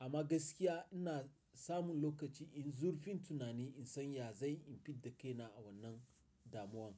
Amma gaskiya ina samun lokaci in zurfin tunani in san ya zai in fidda kaina a wannan damuwan.